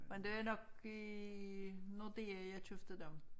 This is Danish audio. Men det er nok i Nordea jeg købte dem